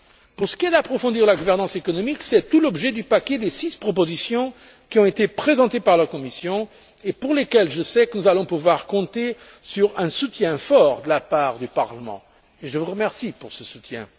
Pour ce qui est d'approfondir la gouvernance économique, c'est tout l'objet du paquet des six propositions qui ont été présentées par la Commission et pour lesquelles je sais que nous allons pouvoir compter sur un soutien fort de la part du Parlement, et je vous remercie pour ce soutien.